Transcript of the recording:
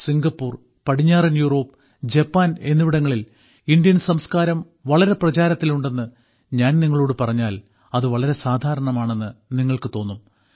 Singapore പടിഞ്ഞാറൻ Europe Japan എന്നിവിടങ്ങളിൽ Indian സംസ്കാരം വളരെ പ്രചാരത്തിൽ ഉണ്ടെന്ന് ഞാൻ നിങ്ങളോടു പറഞ്ഞാൽ അത് വളരെ സാധാരണമാണെന്ന് നിങ്ങൾക്കു തോന്നും